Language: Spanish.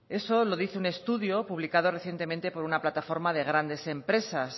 eso lo dice un estudio publicado recientemente por una plataforma de grandes empresas